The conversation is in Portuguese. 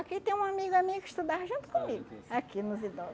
Aqui tem uma amiga minha que estudava junto comigo, aqui nos idoso.